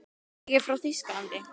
Ég er frá Þýskalandi.